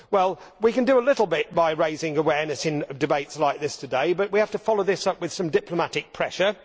Well, we can do a bit by raising awareness in debates like this today, but we have to follow this up with some diplomatic pressure.